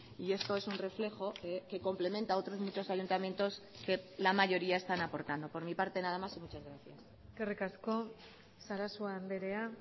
y esto es un reflejo que complementa otros muchos ayuntamientos que la mayoría están aportando por mi parte nada más y muchas gracias eskerrik asko sarasua andrea